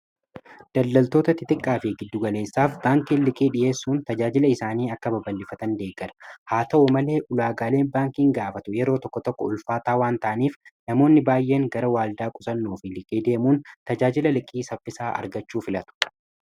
Daldaltoota xixiqqaa Fi giddugaleessaaf baankiin liqii dhiheessuun tajaajila isaanii akka babal'ifatan deeggara haa ta'u malee ulaagaaleen baankiin gaafatu yeroo tokko tokko ulfaataa waan ta'aniif namoonni baay'een gara waldaa qusannuufi liqii deemuun tajaajila liqii saffisaa argachuu filatu.